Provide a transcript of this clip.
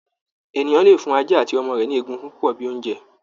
Ènìyàn lè fún ajá àti ọmọ rẹ ni ègùngùn púpọ bíi oúnjẹ.